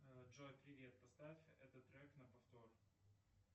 джой привет поставь этот трек на повтор